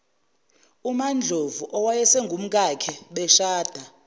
ndlovu owayesengumkakhe beshade